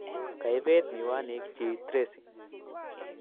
Kaibet miwanik chi Tracy